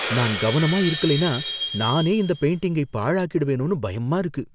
நான் கவனமா இருக்கலைனா, நானே இந்த பெயிண்டிங்கை பாழாக்கிடுவேனோன்னு பயமா இருக்கு.